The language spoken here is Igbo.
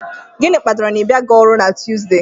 Gịnị kpatara na ị bịaghị ọrụ na Tuesday?